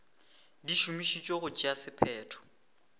di šomišetšwa go tšea sephetho